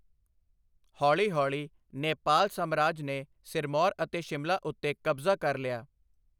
ਹੌਲੀ ਹੌਲੀ, ਨੇਪਾਲ ਸਾਮਰਾਜ ਨੇ ਸਿਰਮੌਰ ਅਤੇ ਸ਼ਿਮਲਾ ਉੱਤੇ ਕਬਜ਼ਾ ਕਰ ਲਿਆ।